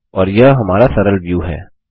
और यह हमारा सरल व्यू है